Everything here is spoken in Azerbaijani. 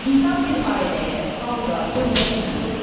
İnsan bir ailəyə, xalqa, dövlətə mənsubdur.